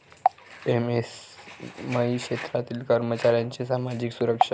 MSME क्षेत्रातील कर्मचाऱ्यांची सामाजिक सुरक्षा